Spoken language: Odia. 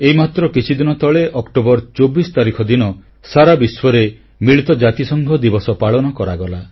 ଏଇମାତ୍ର କିଛିଦିନ ତଳେ ଅକ୍ଟୋବର 24 ତାରିଖ ଦିନ ସାରା ବିଶ୍ୱରେ ମିଳିତ ଜାତିସଂଘ ଦିବସ ପାଳନ କରାଗଲା